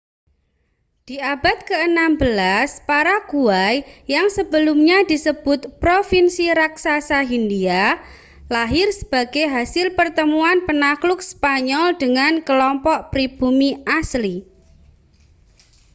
di abad ke-16 paraguay yang sebelumnya disebut provinsi raksasa hindia lahir sebagai hasil pertemuan penakluk spanyol dengan kelompok pribumi asli